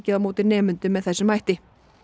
á móti nemendum með þessum hætti